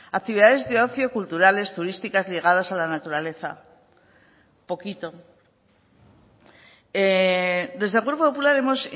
actividades de ocio culturales turísticas ligadas a la naturaleza poquito desde el grupo popular hemos